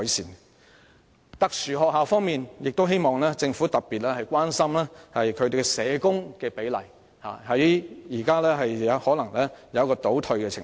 在特殊學校方面，我希望政府特別關注社工比例，因為目前可能正出現倒退情況。